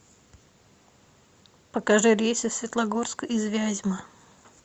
покажи рейсы в светлогорск из вязьмы